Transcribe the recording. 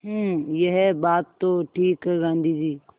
हूँ यह बात तो ठीक है गाँधी जी